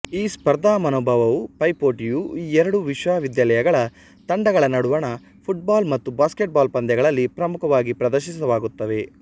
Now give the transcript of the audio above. ಈ ಸ್ಪರ್ಧಾಮನೋಭಾವವುಪೈಪೋಟಿಯು ಈ ಎರಡೂ ವಿಶ್ವವಿದ್ಯಾಲಯಗಳ ತಂಡಗಳ ನಡುವಣ ಫುಟ್ ಬಾಲ್ ಮತ್ತು ಬ್ಯಾಸ್ಕೆಟ್ ಬಾಲ್ ಪಂದ್ಯಗಳಲ್ಲಿ ಪ್ರಮುಖವಾಗಿ ಪ್ರದರ್ಶಿತವಾಗುತ್ತವೆ